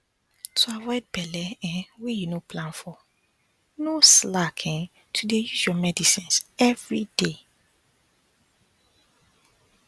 to avoid belle um wey you no plan for no slack um to dey use your medicines everyday